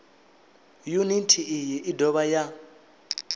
yuniti iyi i dovha ya